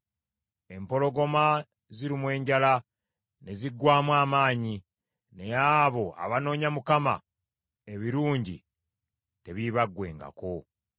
Empologoma zirumwa enjala ne ziggwaamu amaanyi; naye abo abanoonya Mukama , ebirungi tebiibaggwengako.